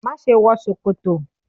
má ṣe wọ ṣòkòtò!